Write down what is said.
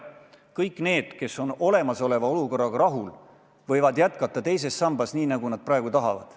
Kõik need, kes on olemasoleva olukorraga rahul, võivad jätkata teises sambas, nii nagu nad tahavad.